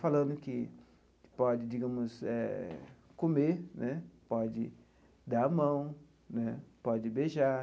Falando que pode, digamos eh, comer né, pode dar a mão né, pode beijar.